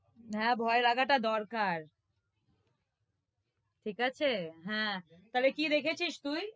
হ্যাঁ ভয় লাগাটা দরকার ঠিক আছে? হ্যাঁ, তাহলে কি দেখেছিস তুই?